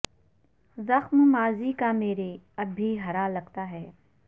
زخم ماضی کا میرے اب بھی ہرا لگتا ہے